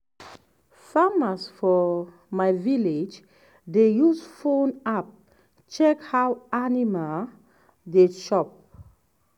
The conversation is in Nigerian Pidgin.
farmers for my village dey use phone app check how animal dey chop.